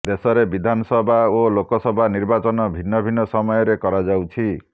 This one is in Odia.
ଦେଶରେ ବିଧାନସଭା ଓ ଲୋକସଭା ନିର୍ବାଚନ ଭିନ୍ନ ଭିନ୍ନ ସମୟରେ କରାଯାଉଛି